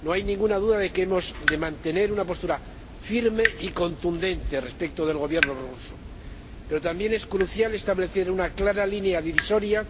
No hay ninguna duda de que hemos de mantener una postura firme y contundente respecto del Gobierno ruso, pero también es crucial establecer una clara línea divisoria